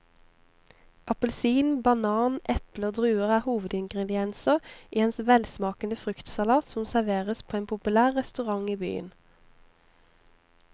Appelsin, banan, eple og druer er hovedingredienser i en velsmakende fruktsalat som serveres på en populær restaurant i byen.